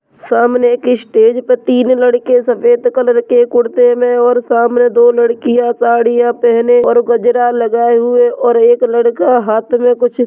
सामने एक स्टेज पे तीन लड़के सफेद कलर के कुर्ते में और सामने दो लड़कियां साड़ियां पहने और गजरा लगाए हुए और एक लड़का हाथ में कुछ --